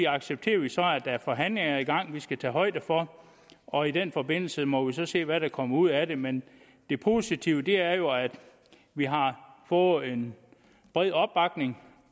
accepterer vi så at der er forhandlinger i gang som vi skal tage højde for og i den forbindelse må vi så se hvad der kommer ud af det men det positive er jo at vi har fået en bred opbakning